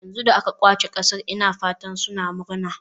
Yanzu da aka ƙwace ƙasar ina fata suna murna.